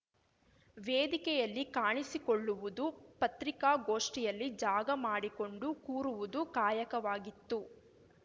ವೇದಿಕೆಯಲ್ಲಿ ಕಾಣಿಸಿಕೊಳ್ಳುವುದು ಪತ್ರಿಕಾಗೋಷ್ಠಿಯಲ್ಲಿ ಜಾಗ ಮಾಡಿಕೊಂಡು ಕೂರುವುದು ಕಾಯಕವಾಗಿತ್ತು